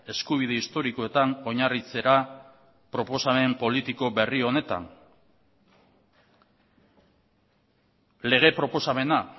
eskubide historikoetan oinarritzera proposamen politiko berri honetan lege proposamena